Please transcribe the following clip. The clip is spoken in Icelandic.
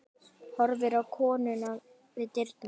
Horfir á konuna við dyrnar.